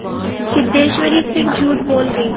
सिद्धेश्वरी फिर झूठ बोल गई